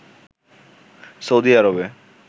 Saudi আরবে